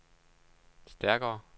stærkere